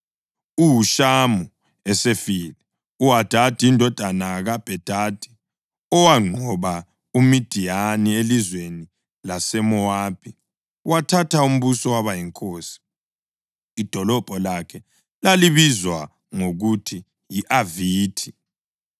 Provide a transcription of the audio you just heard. UHushamu esefile, uHadadi indodana kaBhedadi, owanqoba uMidiyani elizweni laseMowabi, wathatha umbuso waba yinkosi. Idolobho lakhe lalibizwa ngokuthi yi-Avithi.